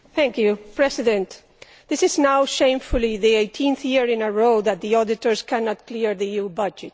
Madam President, this is now shamefully the 18th year in a row that the auditors cannot clear the EU budget.